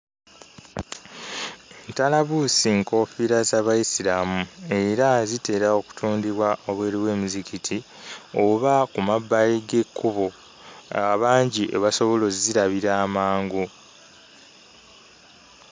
Ntalabuusi nkoofiira za Bayisiraamu era zitera okutundibwa wabweru w'emizikiti oba ku mabbali g'ekkubo abangi we basobola ozzirabira amangu.